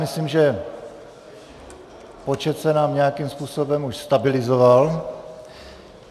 Myslím, že počet se nám nějakým způsobem už stabilizoval.